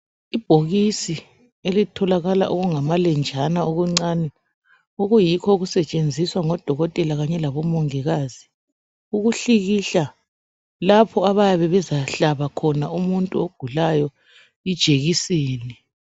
Ibhokisi elitholakala okungamalenjana okuncane okuyikho okusetshenziswa ngodokotela kanye labomongikazi ukuhlikihla lapho abayabe bezahlaba khona umuntu ogulayo ijekiseni.